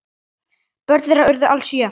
Börn þeirra urðu alls sjö.